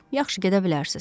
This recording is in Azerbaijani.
Yaxşı, gedə bilərsiniz.